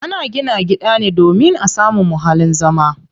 Ana gina gida ne domin a samu muhallin zama.